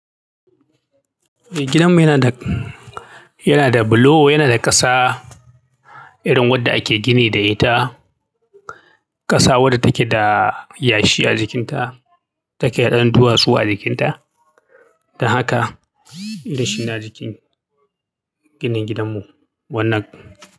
Eh gidanmu yana da, yana da bulo, yana da ƙasa irin wadda ake gini da ita. Ƙasa wadda take da yashi a jikinta, take da ɗan duwatsu a jikinta. Don haka irin shi ne a jikin ginin gidanmu wannan.